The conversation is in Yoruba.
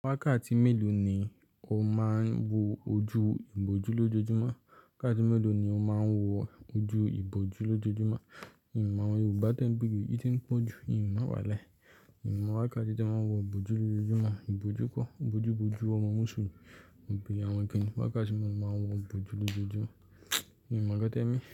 Wákàtí mélòó ni o máa ń wo ojú ìbòjú lójoojúmọ́? Wákàtí mélòó ni o máa ń wo ojú ìbòjú lójoojúmọ́? Ìmọ̀ àwọn Yorùbá tẹ́ńbere yìí iti ń pọ̀ jù, ììnmọ́ wa lai. Ìmọ̀ wákàtí tí a máa ń wo ìbòjú lójoojúmọ́, ìbòjú kọ, ìbòjú bojú ọmọ mú ṣùyì, òbí àwọn kìnnìún, wákàtí méjì ni wọ́n máa ń wo ìbòjú lójoojúmọ́. Mimokan tẹ́mi.